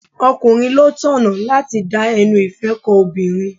Ọkùnrin ló tọ̀nà láti da ẹnu ìfẹ́ ko obìnrin.